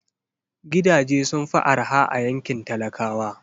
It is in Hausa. Gidaje sun fi araha a yankin talakawa